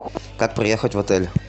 как проехать в отель